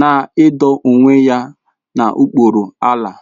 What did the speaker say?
na ido onwe ya n'okpuru Allah.